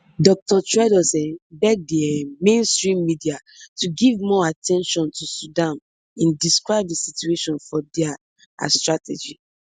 dr tedros um beg di um mainstream media to give more at ten tion to sudan im describe di situation for dia as tragedy